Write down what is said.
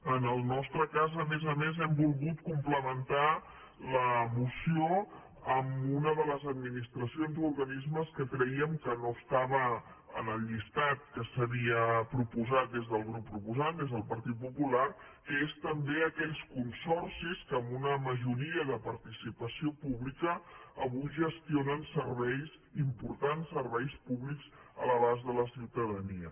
en el nostre cas a més a més hem volgut complementar la moció amb unes de les administracions o organismes que creiem que no estaven en el llistat que s’havia proposat des del grup proposant des del partit popular que són també aquells consorcis que amb una majoria de participació pública avui gestionen serveis importants serveis públics a l’abast de la ciutadania